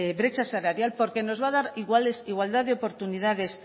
brecha salarial porque nos va a dar igualdad de oportunidades